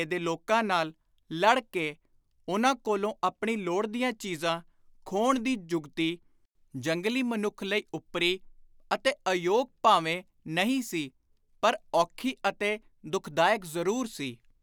ਦੇ ਲੋਕਾਂ ਨਾਲ ਲੜ ਕੇ ਉਨ੍ਹਾਂ ਕੋਲੋਂ ਆਪਣੀ ਲੋੜ ਦੀਆਂ ਚੀਜ਼ਾਂ ਖੋਹਣ ਦੀ ਜੁਗਤੀ, ਜੰਗਲੀ ਮਨੁੱਖ ਲਈ ਓਪਰੀ ਅਤੇ ਅਯੋਗ ਭਾਵੇਂ ਨਹੀਂ ਸੀ ਪਰ ਔਖੀ ਅਤੇ ਦੁਖਦਾਇਕ ਜ਼ਰੂਰ ਸੀ।